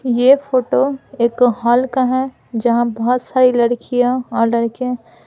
यह फोटो एक हॉल का है जहाँ बहुत सारी लड़कियां और लड़के--